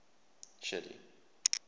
shelly